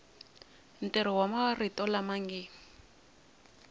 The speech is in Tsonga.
ntirho wa marito lama nge